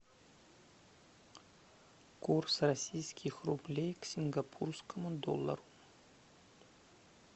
курс российских рублей к сингапурскому доллару